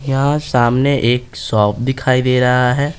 यहां सामने एक शॉप दिखाई दे रहा है।